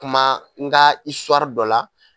Kuma n ka isuwari dɔ la